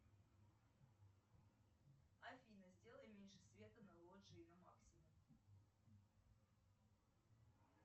афина сделай меньше света на лоджии на максимум